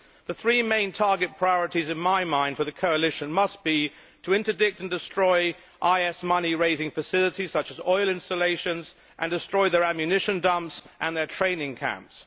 In my mind, the three main target priorities for the coalition must be to interdict and destroy IS money raising facilities, such as oil installations, and destroy their ammunition dumps and their training camps.